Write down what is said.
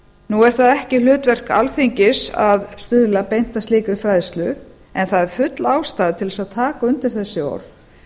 nú er það ekki hlutverk alþingis að stuðla beint að slíkri fræðslu en það er full ástæða til að taka undir þessi orð